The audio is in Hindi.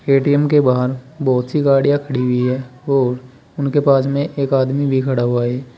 ए_टी_एम के बाहर बहुत सी गाड़ियां खड़ी हुई है और उनके पास में एक आदमी भी खड़ा हुआ है।